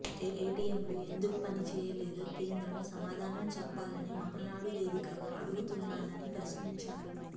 ఏటీఎంలు ఎందుకు పని చేయలేదో కేంద్రం సమాధానం చెప్పాలని మహానాడు వేదికగా అడుగుతున్నానని ప్రశ్నించారు